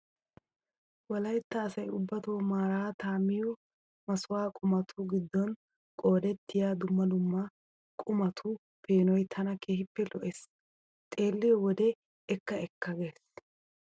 Wolaytta asayi ubbato maaraata miyo masuwaa qumatu giddon qoodettiyaa dumma dumma qumatu peenoyi tana keehippe lo"es. Xewlliyoo wode ekka ekka gea.